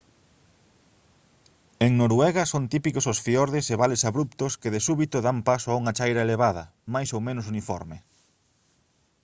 en noruega son típicos os fiordes e vales abruptos que de súbito dan paso a unha chaira elevada máis ou menos uniforme